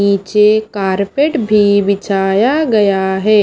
नीचे कार्पेट भी बिछाया गया है।